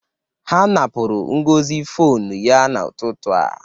Ha napụrụ Ngozi fonu ya n'ụtụtụ a.